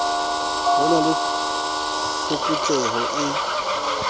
ho na le phokotseho e